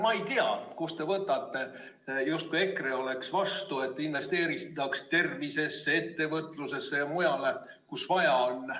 Ma ei tea, kust te võtate seda, justkui EKRE oleks vastu, et investeeritaks tervisesse, ettevõtlusesse või mujale, kuhu vaja on.